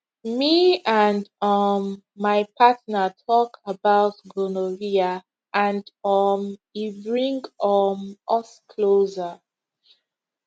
me and um my partner talk about gonorrhea and um e bring um us closer